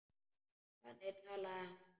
Þannig talaði hún.